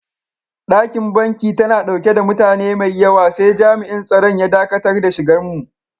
Dakin banki tana dauke da mutane maiyawa sai jam'in tsaron ya daƙatar da shigan mu.